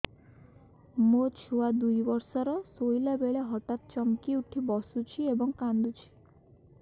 ମୋ ଛୁଆ ଦୁଇ ବର୍ଷର ଶୋଇଲା ବେଳେ ହଠାତ୍ ଚମକି ଉଠି ବସୁଛି ଏବଂ କାଂଦୁଛି